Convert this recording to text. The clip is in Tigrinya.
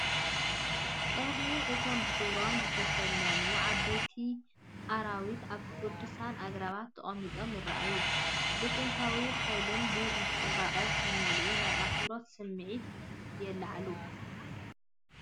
ቀርኒ እቶም ብሕብሮም ዝተሰለሙ ዓበይቲ ኣራዊት ኣብ ቅዱሳት ኣግራብ ተቐሚጦም ይረኣዩ። ብጥንታዊ ሓይልን ዱር ጽባቐን ዝተመልኡ ናይ ኣኽብሮት ስምዒት የለዓዕሉ።